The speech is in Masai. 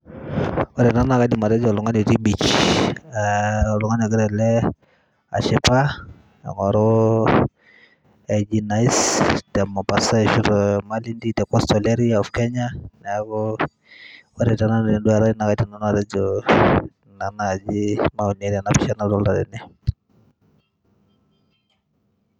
ore ena naa kaidim atejo oltung'ani otii beach eh, oltung'ani ogira ele ashipa aing'oru aiji nice te mombasa ashu te malindi te coastal area of kenya neeku ore tenanu tenduata ai naa kaidim nanu atejo ina naaji maoni tena pisha nadolta tene.